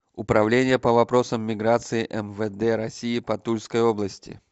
управление по вопросам миграции мвд россии по тульской области